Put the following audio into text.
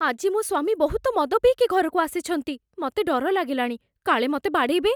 ଆଜି ମୋ ସ୍ୱାମୀ ବହୁତ ମଦ ପିଇକି ଘରକୁ ଆସିଛନ୍ତି । ମତେ ଡର ଲାଗିଲାଣି, କାଳେ ମତେ ବାଡ଼େଇବେ ।